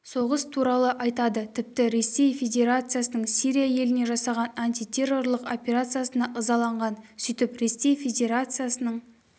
соғыс туралы айтады тіпті ресей федерациясының сирия еліне жасаған антитеррорлық операциясына ызаланған сөйтіп ресей федерациясының